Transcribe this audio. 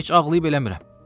Heç ağlayıb eləmirəm.